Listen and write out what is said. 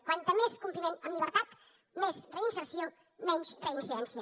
com més compliment en llibertat més reinserció menys reincidència